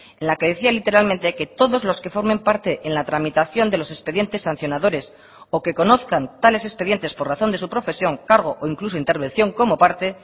en la que decía literalmente que todos los que formen parte en la tramitación de los expedientes sancionadores o que conozcan tales expedientes por razón de su profesión cargo o incluso intervención como parte